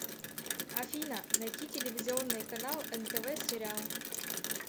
афина найти телевизионный канал нтв сериал